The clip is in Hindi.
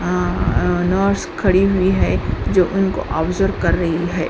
आ नर्स खड़ी हुई है जो उनको ऑब्सेर्वे कर रही है।